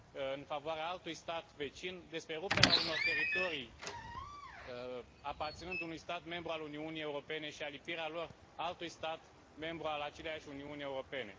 în favoarea altui stat vecin, despre ruperea unor teritorii aparținând unui stat membru al Uniunii Europene și alipirea lor altui stat membru al aceleași Uniuni Europene.